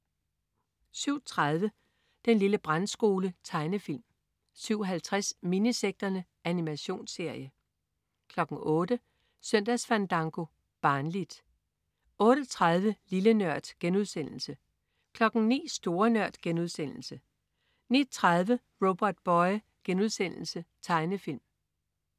07.30 Den lille brandskole. Tegnefilm 07.50 Minisekterne. Animationsserie 08.00 Søndagsfandango. Barnligt 08.30 Lille Nørd* 09.00 Store Nørd* 09.30 Robotboy.* Tegnefilm